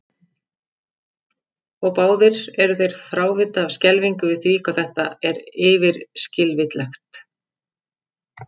Og báðir eru þeir frávita af skelfingu yfir því hvað þetta er yfirskilvitlegt.